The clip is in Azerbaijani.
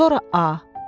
Sonra A.